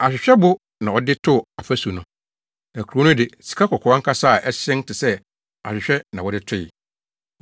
Ahwehwɛbo na ɔde too afasu no. Na kurow no de, sikakɔkɔɔ ankasa a ɛhyerɛn te sɛ ahwehwɛ na wɔde toe.